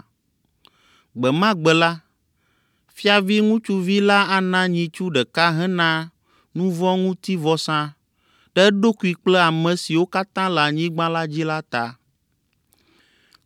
Gbe ma gbe la, fiavi ŋutsuvi la ana nyitsu ɖeka hena nuvɔ̃ŋutivɔsa ɖe eɖokui kple ame siwo katã le anyigba la dzi la ta.